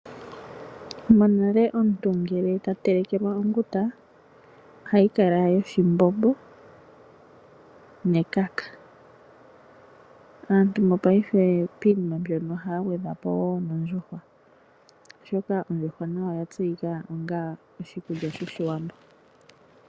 Monale omuntu ngele ta telekelwa onguta, ohayi kala yoshimbombo nekaka. Aantu mopaife piinima mbyono ohaya gwedhapo wo nondjuhwa, oshoka ondjuhwa nayo oya tseyika onga oshikulya shoshiwambo.